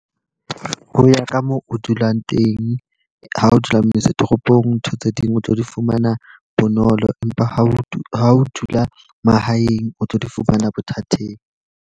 Ho ya ka moo o dulang teng, ha o dula motse toropong ntho tse ding o tlo di fumana bonolo. Empa ha o ha o dula mahaeng, o tlo di fumana bothateng.